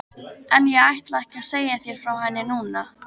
En ég ætla ekki að segja þér frá henni núna.